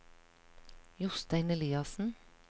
Jostein Eliassen